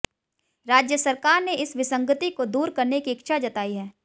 राज्य सरकार ने इस विसंगति को दूर करने की इच्छा जताई है